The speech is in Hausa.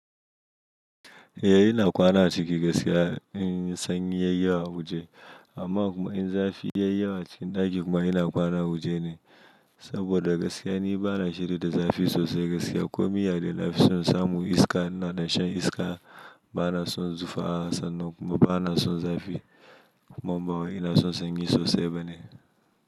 Eh ina kwana a ciki gaskiya in sanyi yayi yawa wuje amma kuma in zafi yayiwa cikin ɗaki, kuma ina kwana wuje ne saboda gaskiya ni bana shiri da zafi sosai gaskiya. Komi ya dai nafi son samu iska, ina da shan iska bana son zufa sanan kuma bana son zafi, amma ba wai ina son sanyi sosai bane.